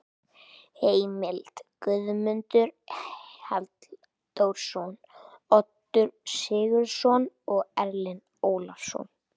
Heimild: Guðmundur Halldórsson, Oddur Sigurðsson og Erling Ólafsson.